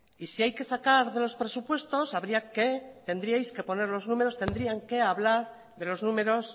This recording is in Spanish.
y si hay que sacar de los presupuestos tendrían que hablar de los números